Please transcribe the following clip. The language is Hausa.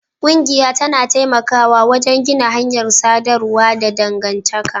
Ƙungiya tana taimakawa wajen gina hanyar sadarwa da dangantaka